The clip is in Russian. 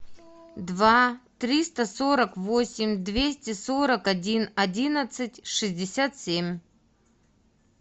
два триста сорок восемь двести сорок один одиннадцать шестьдесят семь